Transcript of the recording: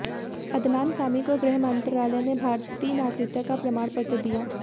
अदनान सामी को गृह मंत्रालय में भारतीय नागरिकता का प्रमाण पत्र दिया